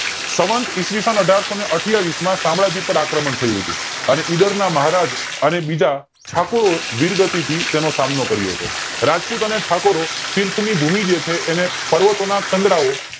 સવંત ઈ. સ અઢારસો અઠ્યાવીસ માં સામ્રાજ્ય પર આક્રમણ થયું હતું અને ઇડર ના મહારાજ અને બીજા ઠાકુરો વીરગતિ થી તેમનો સામનો કર્યો રાજપૂતો અને ઠાકુરો તીર્થ ની ભૂમિ જે છે પર્વતોના કંડદાઓ